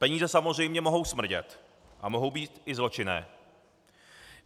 Peníze samozřejmě mohou smrdět a mohou být i zločinné.